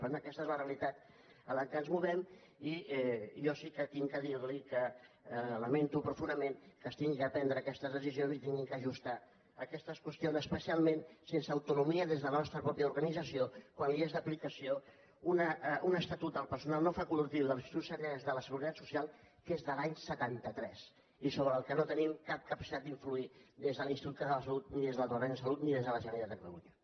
per tant aquesta és la realitat en la qual ens movem i jo sí que he de dir li que lamento profundament que s’hagin de prendre aquestes decisions i s’hagin d’ajustar aquestes qüestions especialment sense autonomia des de la nostra mateixa organització quan li és d’aplicació un estatut del personal no facultatiu de les institucions sanitàries de la seguretat social que és de l’any setanta tres i sobre el qual no tenim cap capacitat d’influir des de l’institut català de la salut ni des del departament de salut ni des de la generalitat de catalunya